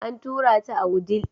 An tura ta a wudil.